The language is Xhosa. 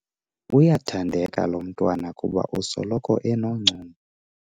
Uyathandeka lo mntwana kuba usoloko enoncumo.